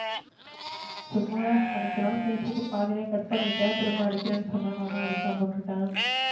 சும்மா தான் அன்னைக்கு ஒரு நாள் பேசிட்டு பாதிலையே cut பண்ணிட்டா திரும்ப அடிகிறேனு சொன்ன நா தான் அதிகமா விட்டுட்டேன்.